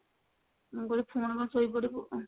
ମୁଁ କହିଲି ପୁଣି କଣ ଶୋଇପଡିବୁ?